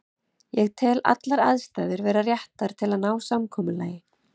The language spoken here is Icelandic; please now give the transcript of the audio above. Ég tel allar aðstæður vera réttar til að ná samkomulagi.